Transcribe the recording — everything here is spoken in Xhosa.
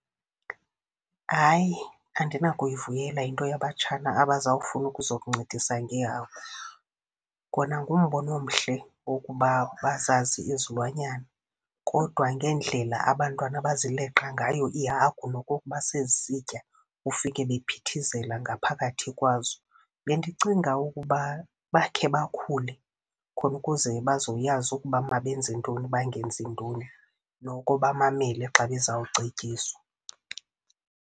Hayi, andinakuyivulela into yabatshana abaza kufuna ukuzokuncedisa ngeehagu. Kona ngumbono omhle owokuba bazazi izilwanyana, kodwa ngendlela abantwana abazileqa ngayo iihagu nokokuba sezisitya ufike bephithizela ngaphakathi kwazo. Bendicinga ukuba bakhe bakhule khona ukuze bazowuyazi ukuba mabenze ntoni bangenzi ntoni, noko bamamele xa bezawucetyiswa.